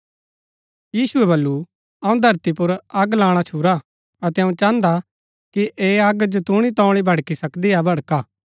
यीशुऐ बल्लू अऊँ धरती पुर अग लाणा छूरा अतै अऊँ चाहन्दा कि ऐह अग जतूणी तोऊळी भड़की सकदी हा भड़का